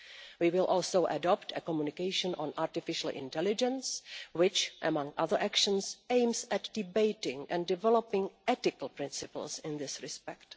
We will also adopt a communication on artificial intelligence, which, among other actions, aims at debating and developing ethical principles in this respect.